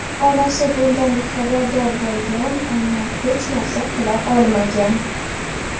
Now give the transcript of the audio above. Onasi bundan xabardor bo‘lgan, ammo hech narsa qila olmagan.